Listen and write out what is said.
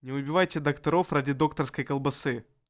не убивайте докторов ради докторской колбасы